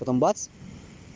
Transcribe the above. потом бац